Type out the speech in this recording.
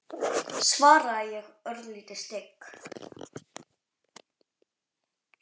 svaraði ég, örlítið stygg.